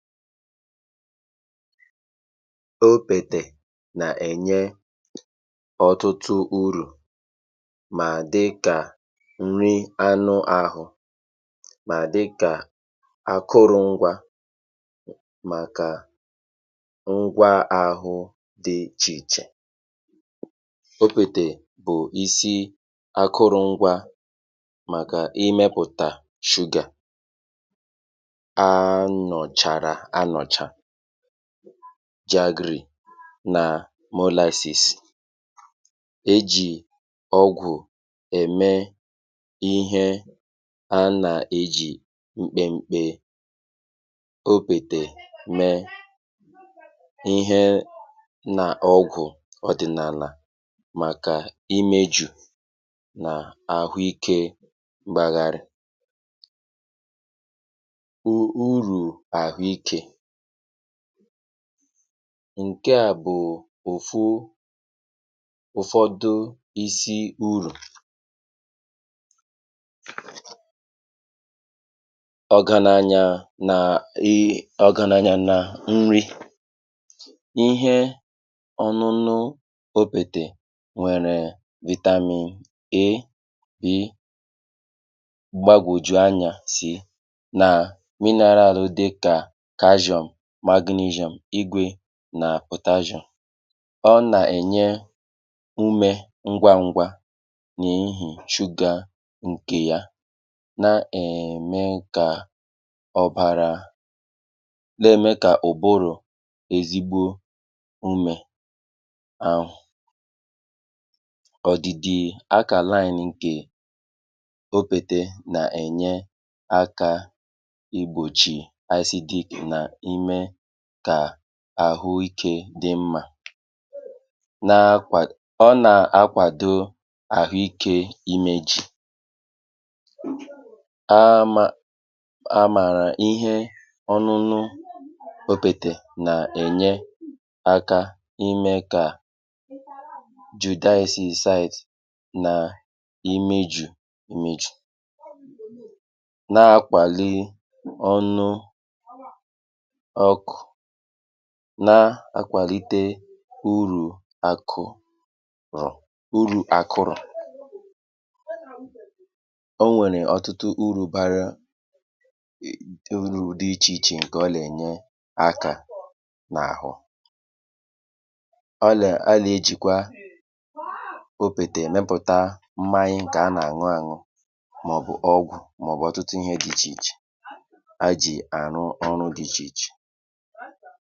FILE 136 opètè nà ènye ọtụtụ urù, mà dịkà nrị anụ ahụ, mà dịkà akụrụ̄ngwa màkà ngwa ahụ dị ichè ichè okpètè bụ̀ isi akụrụ̄ngwa màkà ịmẹ̄pụtà sugar anọ̀chàrà anọ̀cha, jaggery nà molasses. e jì ọgwụ̀ ẹmẹ ịhẹ a nà ejì mkpemkpe okpètè mẹ, ịhẹ nà ọgwụ̀ ọ̀dị̀nàlà màkà imējù nà àhụ ikē gbagharị. urù àhụ ikē ǹkẹ à bụ̀ òfu, ụ̀fọdụ isi urù. ọ̀gànànyà nà ọ̀gànànyà na nri. ịhẹ ọnụnụ okpètè nwẹ̀rẹ̀ vitamin A, B, gbagwojuo anyā C, nà mineral dịkà calcium, magnesium, igwē nà potassium. ọ nà ẹ̀nyẹ umē ngwa ngwa n’ihì sugar ǹkè ya, na ẹ̀mẹ kà ọ̀bàrà, nà ẹ̀mẹ kà ụ̀bụrụ ezigbō umē ahụ̀. ọ̀dị̀dị̀ alkàline ǹkè okpètē nà ẹ̀nyẹ akā igbòchì acidic nà imẹ kà àhụ ikē dị mmā. ọ nà akwàdo ahụ ikē imēchi, a mā a màrà ihe ọnụnụ okpètè nà ènye akā imẹ kà judasis size nà imejù imeju, na akwàli ọnụ ọkụ̀, na akwàlite urù àkụ bàrà, urū akụrụ̀. ọ nwẹ̀rè ọ̀tụtụ urū barā ẹ̀ urū dị ichè ichè ǹkẹ ọ nà ẹ̀nyẹ aka n’àhụ. ọ nà a nà ejìkwa okpètè ẹmẹpụ̀ta mmanya dị ichè ichè a nà ànwụ anwụ, mà ọ bụ̀ ọgwụ̀, mà ọ̀ bụ̀ ọ̀tụtụ ihẹ dị ichè ichè e jì àrụ ọrụ dị ichè ichè.